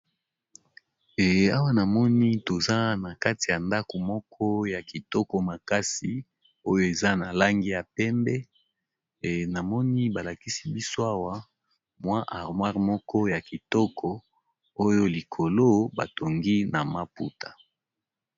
E awa na moni toza na kati ya ndako moko ya kitoko makasi oyo eza na langi ya pembe na moni ba lakisi biso awa mwa armoire moko ya kitoko oyo likolo ba tongi na maputa.